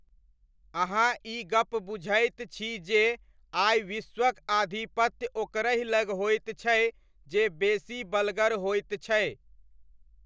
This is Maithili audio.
अहाँ ई गप बुझैत छी जे आइ विश्वक आधिपत्य ओकरहि लग होइत छै जे बेसी बलगर होइत छै।